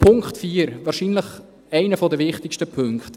Punkt 4 – wahrscheinlich einer der wichtigsten Punkte: